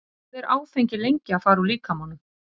Hvað er áfengi lengi að fara úr líkamanum?